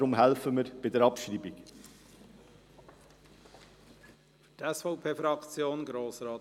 Deshalb helfen wir bei der Abschreibung mit.